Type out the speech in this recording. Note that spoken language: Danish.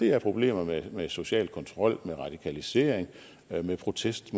er problemer med social kontrol med radikalisering med protest